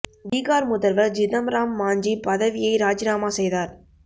பீகார் முதல்வர் ஜிதம் ராம் மாஞ்சி பதவியை ராஜினாமா செய்தார்